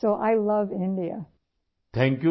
اس لئے میں بھارت سے محبت کرتی ہوں